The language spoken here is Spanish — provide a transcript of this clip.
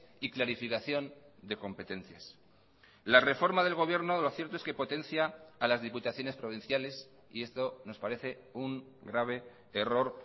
y clarificación de competencias la reforma del gobierno lo cierto es que potencia a las diputaciones provinciales y esto nos parece un grave error